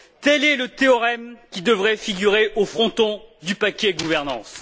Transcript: Tel est le théorème qui devrait figurer au fronton du paquet gouvernance.